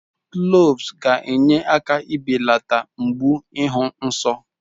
Cloves ga-enye aka belata mgbu ịhụ nsọ.